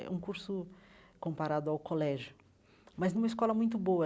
É um curso comparado ao colégio, mas numa escola muito boa.